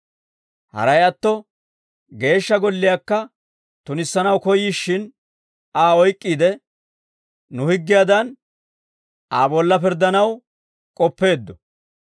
Haray atto Geeshsha Golliyaakka tunissanaw koyyishshin Aa oyk'k'iide, nu higgiyaadan, Aa bolla pirddanaw k'oppeeddo;